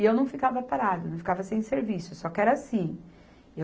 E eu não ficava parada, não ficava sem serviço, só que era assim.